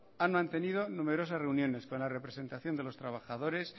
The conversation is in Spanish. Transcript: han mantenido numerosas reuniones con la representación de los trabajadores